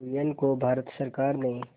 कुरियन को भारत सरकार ने